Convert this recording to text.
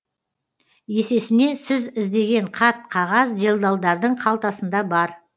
есесіне сіз іздеген қат қағаз делдалдардың қалтасында бар